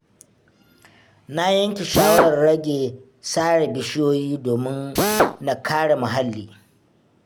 Na yanke shawarar rage sare bishiyoyi domin na kare muhalli.